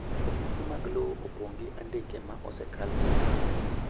ofise mag lowo opong gi andike ma osekal gi saa